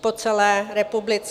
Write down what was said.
po celé republice.